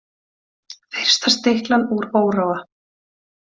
Fyrsta stiklan úr Óróa